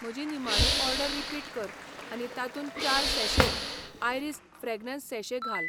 म्हजी निमाणी order repeat कर आनी तातूंत चार सैैशे आयरीस फ्रेग्रन्स सॅशे घाल